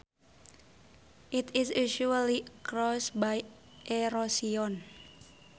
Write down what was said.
It is usually caused by erosion